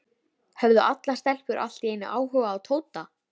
Höfðu allar stelpur allt í einu áhuga á Tóta?